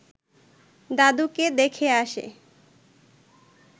দাদুকে দেখে আসে